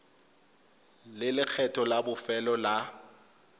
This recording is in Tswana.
le lekgetho la bofelo la